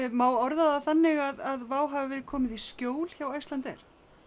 má orða það þannig að hafi verið komið í skjól hjá Icelandair